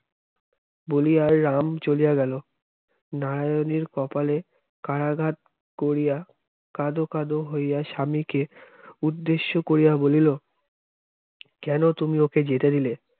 বলিয়া রাম চলিয়া গেল নারায়ণের কপালে কারাগার করিয়া কাঁদো কাঁদো হইয়া স্বামীকে উদ্দেশ্য করিয়া বলিল কেন তুমি ওকে যেতে দিলে